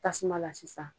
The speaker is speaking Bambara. Tasuma la sisan